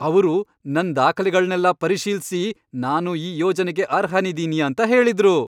ಅವ್ರು ನನ್ ದಾಖಲೆಗಳ್ನೆಲ್ಲ ಪರಿಶೀಲ್ಸಿ, ನಾನು ಈ ಯೋಜನೆಗೆ ಅರ್ಹನಿದೀನಿ ಅಂತ ಹೇಳಿದ್ರು.